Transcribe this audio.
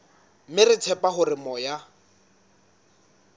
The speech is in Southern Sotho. mme re tshepa hore moya